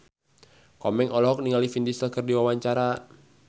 Komeng olohok ningali Vin Diesel keur diwawancara